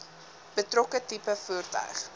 betrokke tipe voertuig